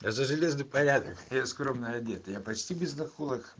я за скромный порядок я скромно одета я почти без наколок